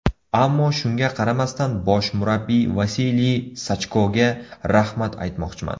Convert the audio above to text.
Ammo shunga qaramasdan bosh murabbiy Vasiliy Sachkoga rahmat aytmoqchiman.